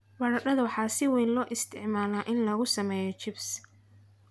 Baradhada waxaa si weyn loo isticmaalaa in lagu sameeyo chips.